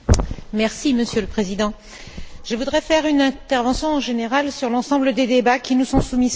Monsieur le Président, je voudrais faire une intervention générale sur l'ensemble des débats qui nous sont soumis ce matin.